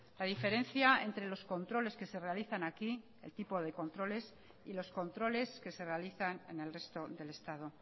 la diferencia entre los controles que se realizan aquí el tipo de controles y los controles que se realizan en el resto del estado